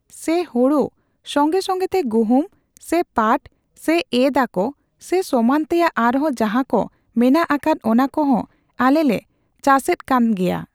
ᱥᱮ ᱦᱳᱲᱳ ᱥᱚᱸᱜᱮᱼᱥᱚᱸᱜᱮ ᱛᱮ ᱜᱩᱦᱩᱢ, ᱥᱮ ᱯᱟᱴ ᱥᱮ ᱮᱸᱫ ᱟᱺᱠ, ᱥᱮ ᱮᱢᱟᱱ ᱛᱮᱭᱟᱜ ᱟᱨᱦᱚᱸ ᱡᱟᱦᱟᱸ ᱠᱚ ᱢᱮᱱᱟᱜ ᱟᱠᱟᱫ ᱚᱱᱟ ᱠᱚᱦᱚᱸ ᱟᱞᱮ ᱞᱮ ᱪᱟᱥᱮ ᱮᱫᱽ ᱠᱟᱱ ᱜᱮᱭᱟ ᱾